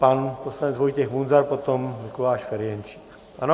Pan poslanec Vojtěch Munzar, potom Mikuláš Ferjenčík, ano?